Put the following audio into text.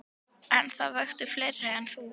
En það vöktu fleiri en hún.